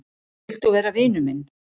Vilt þú vera vinur minn?